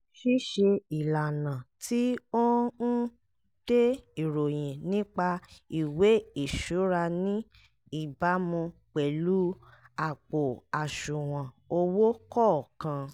ṣíṣe ìlànà tí ó n de ìròyín nípa ìwé ìṣuraní ìbámu pẹ̀lú àpò àṣùwọ̀n owó kọ̀ọ̀kan